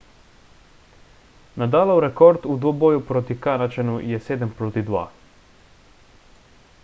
nadalov rekord v dvoboju proti kanadčanu je 7–2